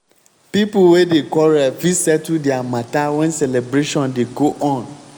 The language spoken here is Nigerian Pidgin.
pipo wey dey quarrel fit settle dia matter wen celebration dey go on.